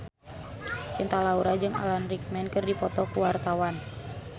Cinta Laura jeung Alan Rickman keur dipoto ku wartawan